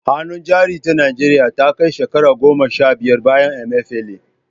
Hannun Jari ta Najeriya Ta Kai Shekara Goma Sha Biyar Bayan Emefiele